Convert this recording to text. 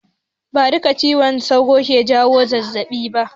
Ba duka cizon sauro ke jawo zazzaɓi ba.